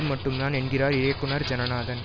மட்டும்தான் என்கிறார் இயக்குனர் ஜனநாதன்